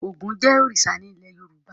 Ògún jẹ́ òrìṣà ní ilé Yorùbá.